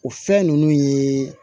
O fɛn nunnu ye